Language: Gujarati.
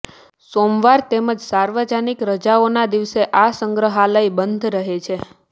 સોમવાર તેમ જ સાર્વજનિક રજાઓના દિવસે આ સંગ્રહાલય બંધ રહે છે